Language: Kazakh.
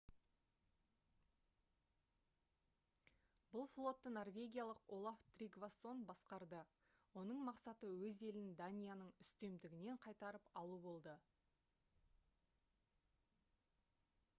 бұл флотты норвегиялық олаф тригвассон басқарды оның мақсаты өз елін данияның үстемдігінен қайтарып алу болды